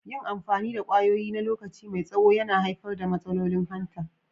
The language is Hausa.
Yin amfani da kwayoyi na lokaci mai tsaho na iya haifar da matsalolin hanta.